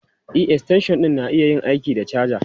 E, extension ɗin na iya yin aiki da caja.